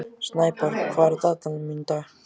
Snæborg, hvað er í dagatalinu mínu í dag?